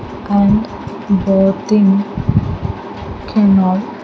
And boating cannot.